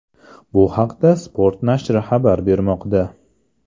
Bu haqda Sport nashri xabar bermoqda .